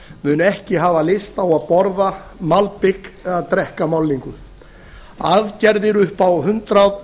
munu ekki hafa lyst á að borða malbik eða drekka málningu aðgerðir